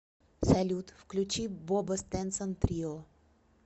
салют включи бобо стенсон трио